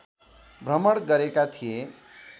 भ्रमण गरेका थिए